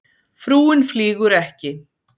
Frúin flýgur ekki